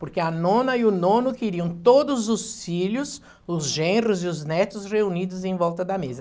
Porque a nona e o nono queriam todos os filhos, os genros e os netos reunidos em volta da mesa.